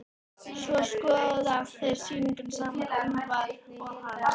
Svo skoða þeir sýninguna saman, Úlfar og hann.